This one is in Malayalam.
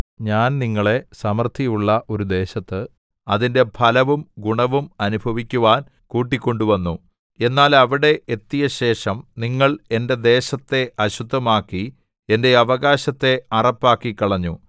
ഞാൻ നിങ്ങളെ സമൃദ്ധിയുള്ള ഒരു ദേശത്ത് അതിന്റെ ഫലവും ഗുണവും അനുഭവിക്കുവാൻ കൂട്ടിക്കൊണ്ടുവന്നു എന്നാൽ അവിടെ എത്തിയശേഷം നിങ്ങൾ എന്റെ ദേശത്തെ അശുദ്ധമാക്കി എന്റെ അവകാശത്തെ അറപ്പാക്കിക്കളഞ്ഞു